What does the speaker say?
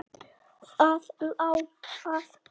Það lá að.